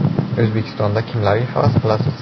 - O‘zbekistonda kimlarga havas qilasiz?